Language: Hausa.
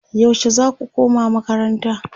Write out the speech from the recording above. yaushe zaku koma makaranta?